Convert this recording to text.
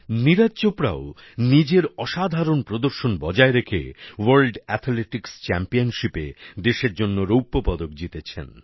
নীরজ চোপড়াও নিজের অসাধারণ প্রদর্শন বজায় রেখে ওয়ার্ল্ড অ্যাথলেটিকস চ্যাম্পিয়নশিপে দেশের জন্য রৌপ্য পদক জিতেছেন